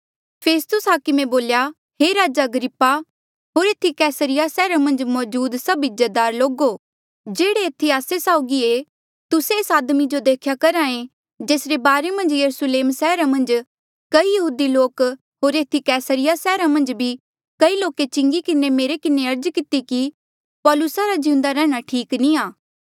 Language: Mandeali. फेस्तुस हाकमे बोल्या हे राजा अग्रिप्पा होर एथी कैसरिया सैहरा मन्झ मौजूद सभ इज्जतदार लोको जेह्ड़े एथी आस्सा साउगी ये तुस्से एस आदमी जो देख्या करहा ऐें जेसरे बारे मन्झ यरुस्लेम सैहरा मन्झ कई यहूदी लोक होर एथी कैसरिया सैहरा मन्झ भी कई लोके चिंगी किन्हें मेरे किन्हें अर्ज किती कि पौलूसा रा जिउंदा रैंहणां ठीक नी आ